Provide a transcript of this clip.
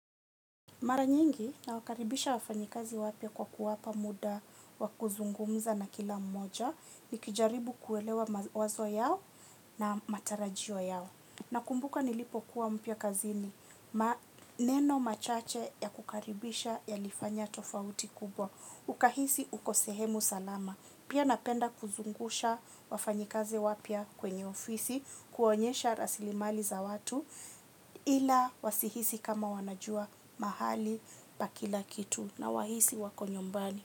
Mara nyingi nawakaribisha wafanyikazi wapya kwa kuwapa muda wa kuzungumza na kila mmoja nikijaribu kuelewa mawazo yao na matarajio yao. Nakumbuka nilipokuwa mpya kazini, maneno machache ya kukaribisha yalifanya tofauti kubwa. Ukahisi uko sehemu salama. Pia napenda kuzungusha wafanyikazi wapya kwenye ofisi, kuonyesha rasili mali za watu. Ila wasihisi kama wanajua mahali pa kila kitu na wahisi wako nyumbani.